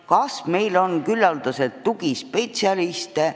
Kas meil on küllaldaselt tugispetsialiste?